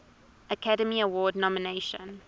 academy award nomination